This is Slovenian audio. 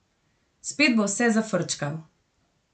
Spet bo vse zafrčkal.